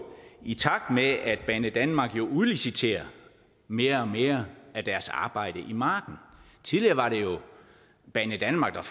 i takt med at banedanmark jo udliciterer mere og mere af deres arbejde i marken tidligere var det banedanmark